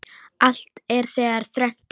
Allt er þegar þrennt er.